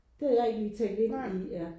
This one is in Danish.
Det havde jeg ikke lige tænkt ind i ja